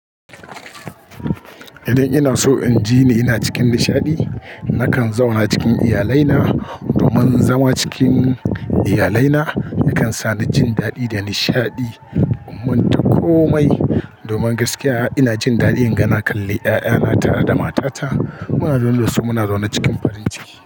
Idan ina so in ji ni ina cikin nishaɗi, nakan zauna cikin iyalai na. Domin zama cikin iyalai na yakan sa ni jin daɗi da nishaɗi. Mun tafi komai domin gaskiya ina jin daɗin yana kalli 'ya'yana tare da matata. Muna lolluwa muna zaune cikin farin ciki.